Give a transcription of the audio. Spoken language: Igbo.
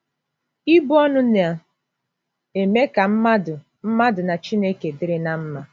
Ibu ọnụ na - eme ka mmadụ mmadụ na Chineke dịrị ná mma